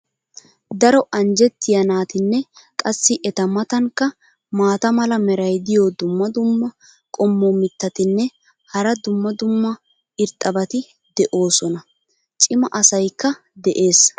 daro anjjetiyaa naatinne qassi eta matankka maata mala meray diyo dumma dumma qommo mitattinne hara dumma dumma irxxabati de'oosona. cimma asaykka de'ees.